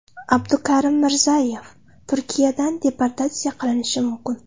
Abdukarim Mirzayev Turkiyadan deportatsiya qilinishi mumkin.